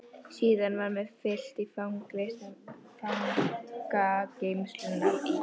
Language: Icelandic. Síðan var mér fylgt í fangageymslurnar í